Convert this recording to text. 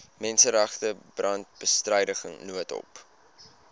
menseregte brandbestryding noodhulp